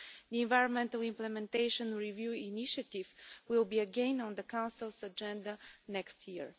The environmental implementation review initiative will be again on the Council's agenda next year.